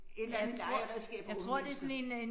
Et eller andet legeredskab for unge mennesker